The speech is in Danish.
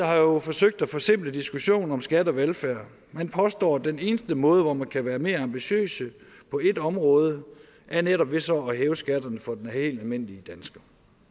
har jo forsøgt at forsimple diskussionen om skat og velfærd man påstår at den eneste måde hvor man kan være mere ambitiøse på ét område er netop ved så at hæve skatterne for den helt almindelige dansker